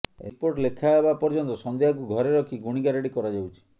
report ଲେଖା ହେବା ପର୍ଯ୍ୟନ୍ତ ସଂଧ୍ୟାଙ୍କୁ ଘରେ ରଖି ଗୁଣି ଗାରେଡ଼ି କରାଯାଉଛି